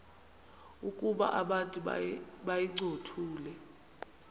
ukuba abantu bayincothule